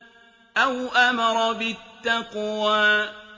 أَوْ أَمَرَ بِالتَّقْوَىٰ